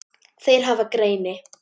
Þeir hafa greini